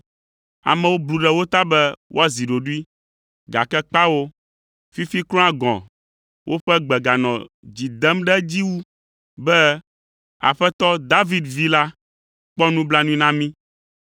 Amewo blu ɖe wo ta be woazi ɖoɖoe, gake kpao; fifi kura gɔ̃ woƒe gbe ganɔ dzi dem ɖe edzi wu be, “Aƒetɔ David vi la, kpɔ nublanui na mi.”